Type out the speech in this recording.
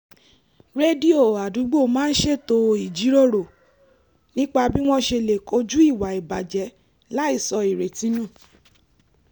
rédíò àdúgbò máa ń ṣètò ìjíròrò nípa b́ wọ́n ṣe lè kojú ìwà ìbàjẹ́ láìsọ ìrètí nù